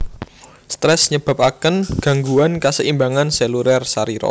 Stres nyebabaken ganggguan kaseimbangan seluler sarira